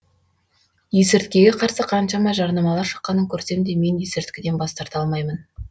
есірткіге қарсы қаншама жарнамалар шыққанын көрсем де мен есірткіден бас тарта алмаймын